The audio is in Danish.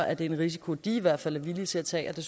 er det en risiko de i hvert fald er villige til at tage og